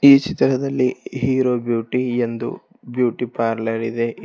ಈ ಚಿತ್ರದಲ್ಲಿ hero beauty ಎಂದು ಬ್ಯೂಟಿ ಪಾರ್ಲರ್ ಇದೆ.